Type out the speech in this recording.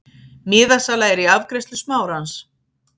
Miðasala er í afgreiðslu Smárans.